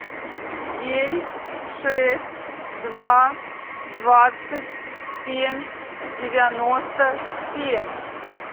девять шесть два двадцать семь девяносто семь